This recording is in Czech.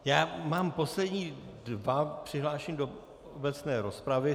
Já mám poslední dva přihlášené do obecné rozpravy.